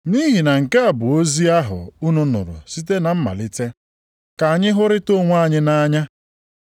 Nʼihi na nke a bụ ozi ahụ unu nụrụ site na mmalite, ka anyị hụrịta onwe anyị nʼanya.